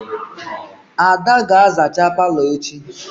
Ada ga-azacha palo echi.